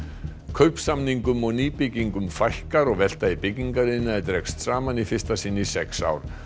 kaupsamningum og nýbyggingum fækkar og velta í byggingariðnaði dregst saman í fyrsta sinn í sex ár